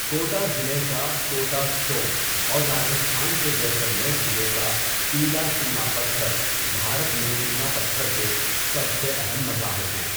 Quota ضلع کا Kota stone اور راجستھان کے جیسلمیر ضلع کا پیلا چونا پتھر بھارت میں چونا پتھر کے سب سے اہم مظاہر ہیں۔